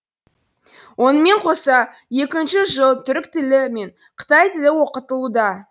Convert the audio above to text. онымен қоса екінші жыл түрік тілі мен қытай тілі оқытылуда